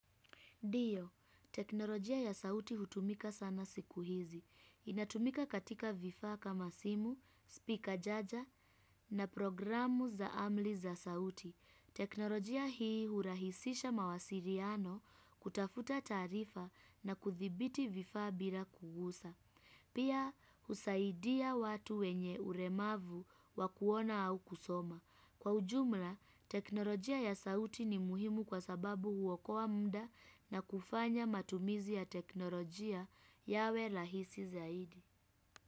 Dio, teknolojia ya sauti hutumika sana siku hizi. Inatumika katika vifaa kama simu, speaker jaja na programu za amli za sauti. Teknolojia hii hurahisisha mawasiriano kutafuta taarifa na kuthibiti vifaa bila kugusa. Pia husaidia watu wenye uremavu wakuona au kusoma. Kwa ujumla, teknolojia ya sauti ni muhimu kwa sababu huwokoa mda na kufanya matumizi ya teknolojia yawe lahisi zaidi.